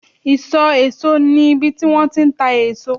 iso eso ni ibi ti won ti n ta eso